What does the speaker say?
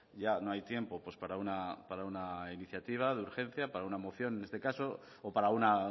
ya no hay tiempo para una iniciativa de urgencia para una moción en este caso o para una